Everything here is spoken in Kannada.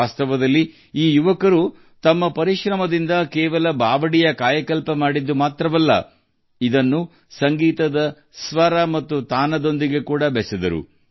ವಾಸ್ತವದಲ್ಲಿ ಅವರು ತಮ್ಮ ಪ್ರಯತ್ನಗಳ ಮೂಲಕ ಈ ಮೆಟ್ಟಿಲು ಬಾವಿಯನ್ನು ಪುನರುಜ್ಜೀವಗೊಳಿಸಿರುವುದು ಮಾತ್ರವಲ್ಲ ಅದನ್ನು ಸಂಗೀತದ ಸ್ವರಗಳು ಮತ್ತು ಮಾಧುರ್ಯಕ್ಕೆ ಜೋಡಿಸಿದ್ದಾರೆ